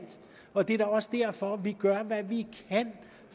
og det er da også derfor vi gør hvad vi kan